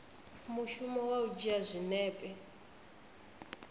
mushumo wa u dzhia zwinepe